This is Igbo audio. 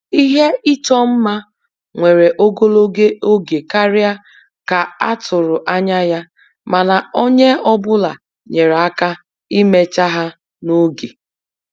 Ihe ịchọ mma were ogologo oge karịa ka a tụrụ anya ya, mana onye ọ bụla nyere aka imecha ha n'oge